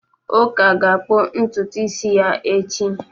Uka ga-akpụ ntutu isi ya echi.